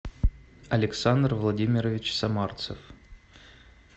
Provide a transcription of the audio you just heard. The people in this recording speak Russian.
александр владимирович самарцев